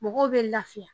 Mɔgɔw bɛ lafiya